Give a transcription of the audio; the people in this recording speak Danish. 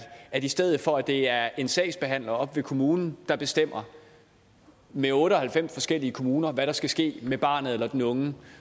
at i stedet for at det er en sagsbehandler oppe ved kommunen der bestemmer med otte og halvfems forskellige kommuner hvad der skal ske med barnet eller den unge